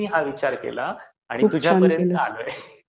म्हणून मी हा विचार केला आणि तुझ्यापर्यंत आलोय.